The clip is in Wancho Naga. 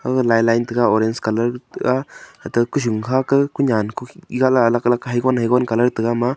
line line tega orange colour ku nyan alag alag .